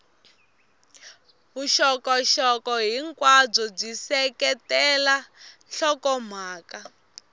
vuxokoxoko hinkwabyo byi seketela nhlokomhaka